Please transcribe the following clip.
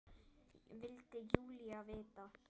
vildi Júlía vita.